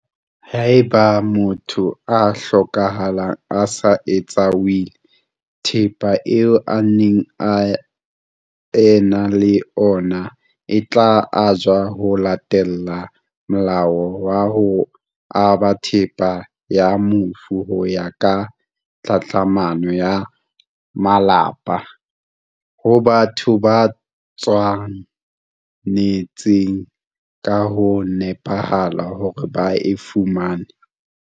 Haeba motho a hlokahala a sa etsa wili, thepa eo a neng a ena le ona e tla ajwa ho latela Molao wa ho Aba Thepa ya Mofu ho ya ka Tlhatlhamano ya Malapa, ho batho ba tshwa netseng ka ho nepahala hore ba e fumane.